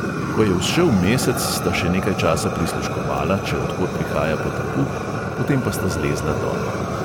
Ko je vzšel mesec, sta še nekaj časa prisluškovala, če od kod prihaja potepuh, potem pa sta zlezla dol.